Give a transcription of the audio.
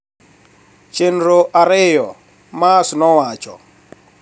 Chenro ariyo," Maas nowacho